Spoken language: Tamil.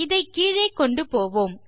இதை கீழே கொண்டு போவோம்